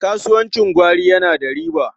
Kasuwancin gwari yana da riba.